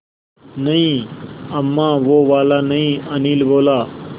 नहीं अम्मा वो वाला नहीं अनिल बोला